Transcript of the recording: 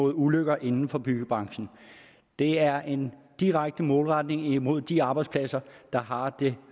af ulykker inden for byggebranchen det er en direkte målretning mod de arbejdspladser der har det